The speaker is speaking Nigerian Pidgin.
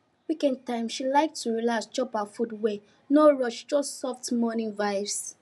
weekend time she like to relax chop her food well no rush just soft morning vibes